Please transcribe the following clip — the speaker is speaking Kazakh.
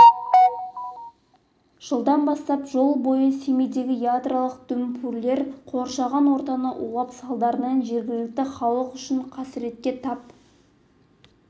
жылдан бастап жыл бойы семейдегі ядролық дүмпулер қоршаған ортаны улап салдарынан жергілікті халық үлкен қасіретке тап